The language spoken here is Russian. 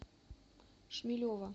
шмелева